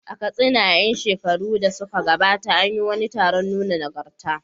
A Katsina, a ƴan shekarun da suka gabata, an yi wani taron nuna nagarta.